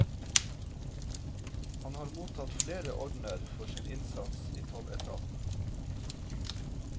Han har mottatt flere ordener for sin innsats i tolletaten.